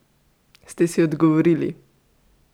Ste si odgovorili?